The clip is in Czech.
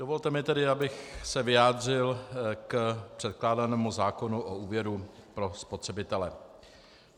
Dovolte mi tedy, abych se vyjádřil k předkládanému zákonu o úvěru pro spotřebitele.